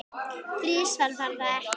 Þrisvar, var það ekki?